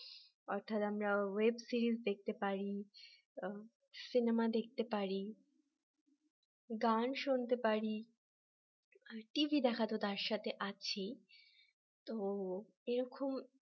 অর্থাৎ আমরা web series দেখতে পারি সিনেমা দেখতে পারি গান শুনতে পারি টিভি দেখা তো তার সাথে আছেই তো এরকম